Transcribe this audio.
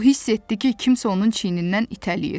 O hiss etdi ki, kimsə onun çiynindən itələyir.